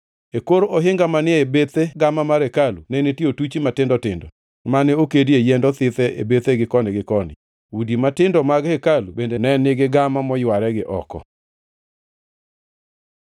E kor ohinga manie bethe gama mar hekalu ne nitie otuchi matindo tindo mane okedie yiend othidhe e bethegi koni gi koni. Udi matindo mag hekalu bende ne nigi gama moyware gi oko.